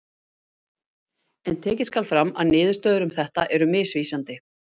en tekið skal fram að niðurstöður um þetta eru misvísandi